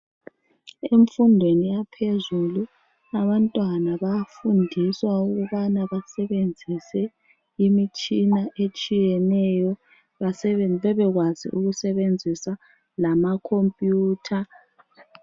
Emfundweni yaphezulu, abantwana bayafundiswa ukubana basebenzise imitshina etshiyeneyo, bebekwazi ukusebenzisa lamakhompiyutha.